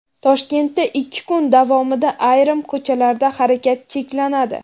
Toshkentda ikki kun davomida ayrim ko‘chalarda harakat cheklanadi.